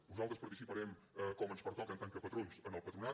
nosaltres participarem com ens pertoca en tant que patrons en el patronat